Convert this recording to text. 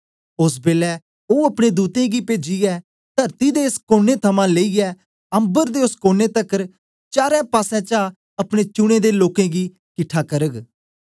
ओस बेलै ओ अपने दूतें गी पेजीयै तरती दे एस कोने थमां लेईयै अम्बर दे ओस कोने तकर चारो पासें चा अपने चुने दे लोकें गी किट्ठा करग